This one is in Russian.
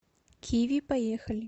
киви поехали